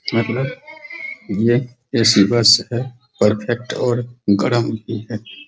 मैं अपना ये रेसिवेर्स है परफेक्ट और गरम भी है |